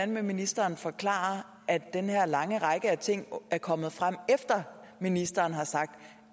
ministeren forklare at den her lange række af ting er kommet frem efter at ministeren har sagt